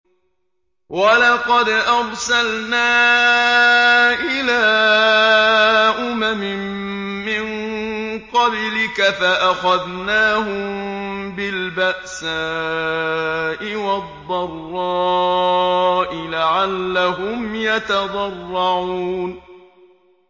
وَلَقَدْ أَرْسَلْنَا إِلَىٰ أُمَمٍ مِّن قَبْلِكَ فَأَخَذْنَاهُم بِالْبَأْسَاءِ وَالضَّرَّاءِ لَعَلَّهُمْ يَتَضَرَّعُونَ